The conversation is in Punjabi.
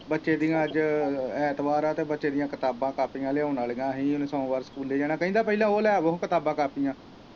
ਬੱਚੇ ਦੀਆਂ ਅੱਜ ਐਤਵਾਰ ਹੈ ਤੇ ਬੱਚੇ ਦੀਆਂ ਕਿਤਾਬਾਂ ਕਾਪੀਆਂ ਲਿਆਉਣ ਵਾਲੀਆਂ ਹੀ ਸੋਮਮਵਾਰ ਸਕੂਲੇੇ ਜਾਣਾ ਕਹਿੰਦਾ ਪਹਿਲਾਂ ਉਹ ਲੈ ਆਵੋ ਹਾਂ ਕਿਤਾਬਾਂ ਕਾਪੀਆਂ।